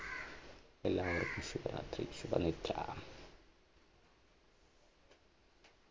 എല്ലാവർക്കും ശുഭരാത്രി ശുഭനിദ്ര